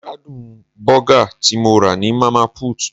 Mo gbádùn bọ́gà tí mo rà ní Mama put.